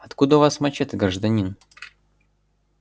откуда у вас мачете гражданин